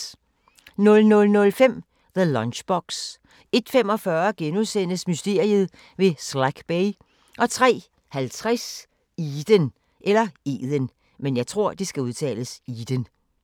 00:05: The Lunchbox 01:45: Mysteriet ved Slack Bay * 03:50: Eden